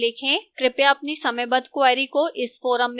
कृपया अपनी समयबद्ध queries को इस forum में post करें